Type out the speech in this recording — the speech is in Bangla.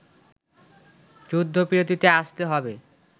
যুদ্ধবিরতিতে আসতে হবে